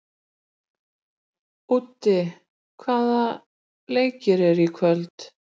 Úddi, hvaða leikir eru í kvöld?